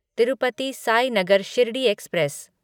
Tirupati Sainagar Shirdi express